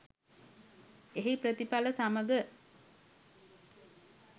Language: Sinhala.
එහි ප්‍රතිඵල සමග